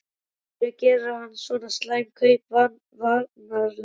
Af hverju gerir hann svona slæm kaup varnarlega?